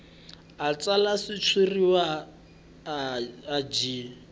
a tsala xitshuriwa a byi